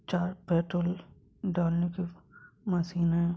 चार पेट्रोल डालने की मशीन है ।